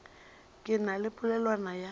ke na le polelwana ya